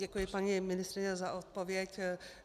Děkuji, paní ministryně, za odpověď.